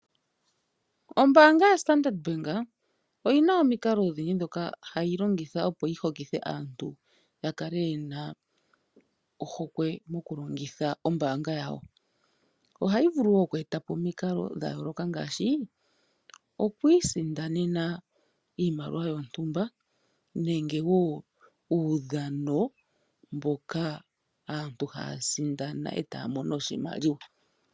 Ombaanga lyoStandard bank oyina omikalo odhindji dhono hayi longitha, opo yihokithe aantu yakale yena ohokwe mokulongitha ombaanga yawo. Omikalo ongaashi okwii sindanena iimaliwa yontumba, nenge uudhano mbono aantu haya sindana etaya mono oshimaliwa.